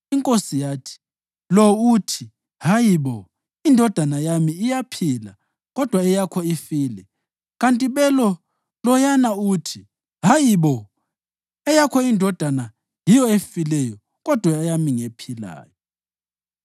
Inkosi yathi, “Lo uthi, ‘Hayi bo! Indodana yami iyaphila kodwa eyakho ifile’ kanti belo loyana uthi, ‘Hayi bo! Eyakho indodana yiyo efileyo kodwa eyami ngephilayo.’ ”